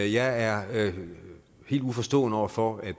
jeg er helt uforstående over for at